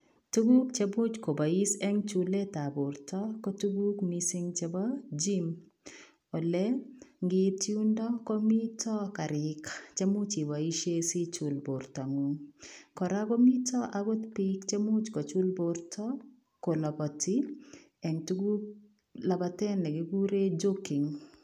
Tuguuk che buuch Kobo is en chuleet ab bortoo ko tuguuk missing chebo Gym ole ngiit yundaa komitaa gariik che muuch ibaisheen sijuul bortangung kora komitaa akoot biik chemuuch kochul bortoo kolabatii en tuguuk labaten nekikureen joking